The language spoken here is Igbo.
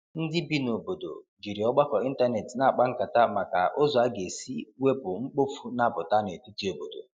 ndi ibi na obodo jiri ọgbako ịntanetị na akpa nkata maka ụzọ aga esi iwepụ mkpofu na aputa n'etiti obodo